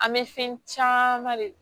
An bɛ fɛn caman de